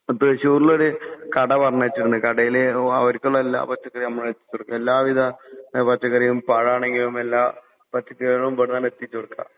തൃശ്ശൂരിലൊരു കട പറഞ്ഞേച്ചിരുന്നു. കടയില് അവരിക്കുള്ള എല്ലാ പച്ചക്കറികളും നമ്മളാ എത്തിച്ചുകൊടുക്കുക. എല്ലാവിധ ആഹ് പച്ചക്കറിയും പഴാണെങ്കിലും എല്ലാ പച്ചക്കറികളും ഇവിടുന്നാണ് എത്തിച്ചുകൊടുക്കുക.